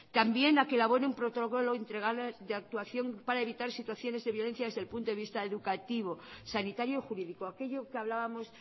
también a que elabore un protocolo integral de actuación para evitar situaciones de violencia desde el punto de vista educativo sanitario y jurídico aquello que hablábamos